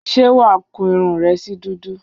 Ṣé wà á kun irun rẹ sí dúdú?